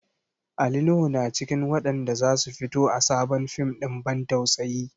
Ali Nuhu na cikin waɗanda za su fito a sabon fim ɗin ban tausayi.